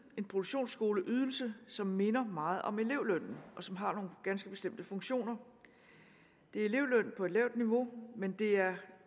en produktionsskoleydelse som minder meget om elevlønnen og som har nogle ganske bestemte funktioner det er elevløn på et lavt niveau men det er